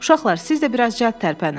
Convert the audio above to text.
Uşaqlar, siz də biraz cəld tərpənin.